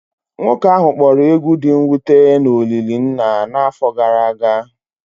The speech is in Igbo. Nwoke ahụ kpọrọ egwu dị mwute na olili nna n'afọ gara aga